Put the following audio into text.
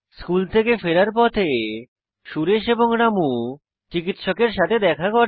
school থেকে ফেরার পথে সুরেশ এবং রামু চিকিৎসকের সাথে দেখা করে